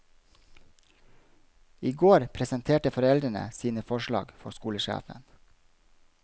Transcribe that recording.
I går presenterte foreldrene sine forslag for skolesjefen.